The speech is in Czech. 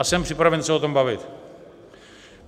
A jsem připraven se o tom bavit.